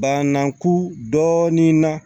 Bananku dɔɔnin na